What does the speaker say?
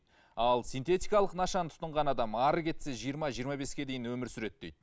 ал синтетикалық нашаны тұтынған адам әрі кетсе жиырма жиырма беске дейін өмір сүреді дейді